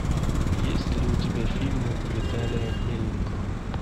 есть ли у тебя фильмы виталия мельникова